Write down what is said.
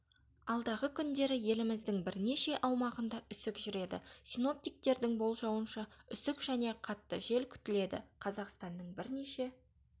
алдағы күндері еліміздің бірнеше аумағында үсік жүреді синоптиктердің болжауынша үсік және қатты жел күтіледі қазақстанның бірнеше